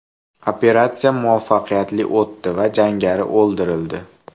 Operatsiya muvaffaqiyatli o‘tdi va jangari o‘ldirildi.